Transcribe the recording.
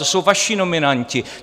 To jsou vaši nominanti.